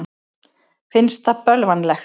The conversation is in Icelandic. Finnst það bölvanlegt.